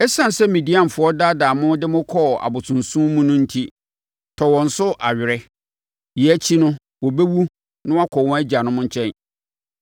“Esiane sɛ Midianfoɔ daadaa mo de mo kɔɔ abosonsom mu no enti, tɔ wɔn so awere. Yei akyi no wɔbɛwu na wɔakɔ wɔn agyanom nkyɛn.”